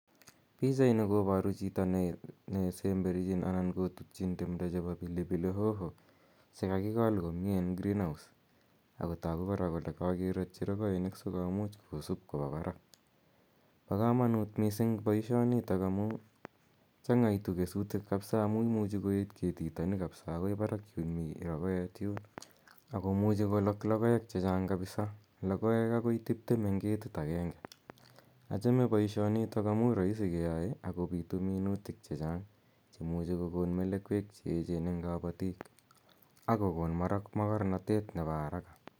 Pichaini koparu chito ne semberchin anan kotutchin timdo chepo pilipili hoho che kakikol komye en greenhouse. Ako. tagu kora kole kakeratchi rokoinik asikomuch kosup kopa parak. Pa kamanut missing' poishonitok amu chang'aitu kesutik kapsa amu imuchi koet ketitani kapsa akoi parak yun mi rokoet yun. Ako muchi kolak logoek che chang' kapisa. Logoek akoi tiptem eng' ketit agenge. Achame poishonitok amu raisi keyae ako pitu minutik che chang' che muchi kokon melekwek che echen eng' kapatiik ako kon makarnatet nepo araka.